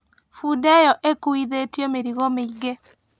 Bunda ĩyo ĩkuithĩtio mĩrigo mĩingĩ.